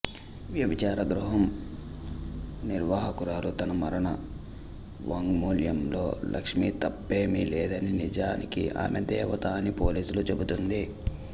వ్యభిచార గృహం నిర్వాహకురాలు తన మరణవాంగ్మూలంలో లక్ష్మి తప్పేమీ లేదని నిజానికి ఆమె దేవత అని పోలీసులకు చెబుతుంది